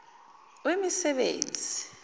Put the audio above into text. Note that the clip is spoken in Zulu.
wemisebenzi